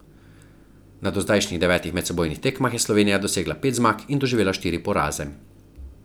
Na dozdajšnjih devetih medsebojnih tekmah je Slovenija dosegla pet zmag in doživela štiri poraze.